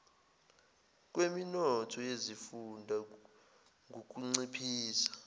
kweminotho yezifunda ngukunciphisa